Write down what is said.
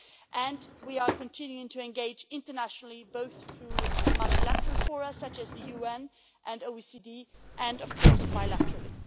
And we are continuing to engage internationally, both through multilateral fora such as the UN and OECD, and of course bilaterally.